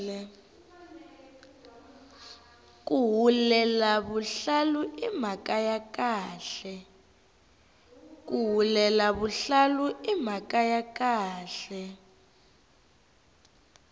ku hulela vuhlalu i mhaka ya khale